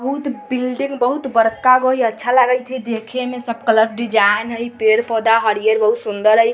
बहुत बिल्डिंग बहुत बरका हई अच्छा लागत हई देखे में सब कलर डिज़ा है पेड़ -पौधा हरा -हरा बहुत सूंदर हई ।